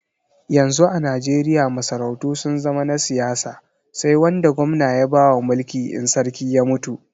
Yanzu a Najeriya masarautu sun zama na siyasa sai wanda gwamna ya bawa mulki in sarki ya mutu.